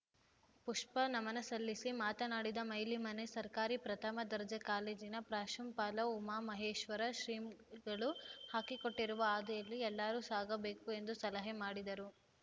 ಪುಷ್ಪ ನಮನ ಸಲ್ಲಿಸಿ ಮಾತನಾಡಿದ ಮೈಲಿಮನೆ ಸರ್ಕಾರಿ ಪ್ರಥಮ ದರ್ಜೆ ಕಾಲೇಜಿನ ಪ್ರಾಂಶುಪಾಲ ಉಮಾ ಮಹೇಶ್ವರ ಶ್ರೀಗಳು ಹಾಕಿಕೊಟ್ಟಿರುವ ಹಾದಿಯಲ್ಲಿ ಎಲ್ಲಾರೂ ಸಾಗಬೇಕು ಎಂದು ಸಲಹೆ ಮಾಡಿದರು